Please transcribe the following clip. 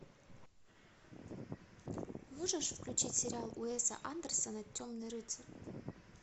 можешь включить сериал уэса андерсона темный рыцарь